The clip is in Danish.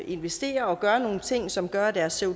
investere og gøre nogle ting som gør at deres